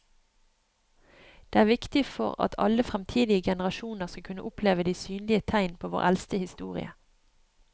Det er viktig for at alle fremtidige generasjoner skal kunne oppleve de synlige tegn på vår eldste historie.